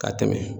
Ka tɛmɛ